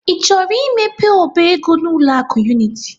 I chọrọ imepe ọba ego n'ụlọ akụ Unity?